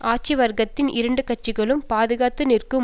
ஆட்சி வர்க்கத்தின் இரண்டு கட்சிகளும் பாதுகாத்து நிற்கும்